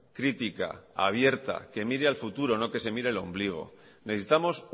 crítica abierta que mire al futuro no que se mire el ombligo necesitamos